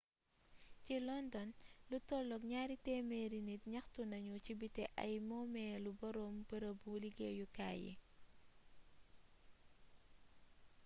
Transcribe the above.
ci london lu tollu gnaari témééri nit gnaxtu nagnu ci biti ay moomélu borom beereebu liggéyu kaay yi